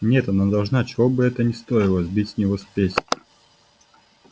нет она должна чего бы это ни стоило сбить с него спесь